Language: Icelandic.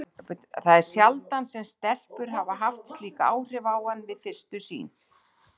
Það er sjaldan sem stelpur hafa haft slík áhrif á hann við fyrstu sýn.